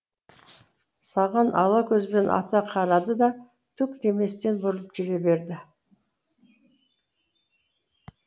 саған ала көзбен ата қарады да түк деместен бұрылып жүре берді